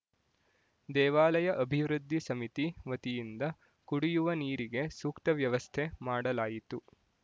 ದೇವಾಲಯ ಅಭಿವೃದ್ಧಿ ಸಮಿತಿ ವತಿಯಿಂದ ಕುಡಿಯುವ ನೀರಿಗೆ ಸೂಕ್ತ ವ್ಯವಸ್ಥೆ ಮಾಡಲಾಯಿತು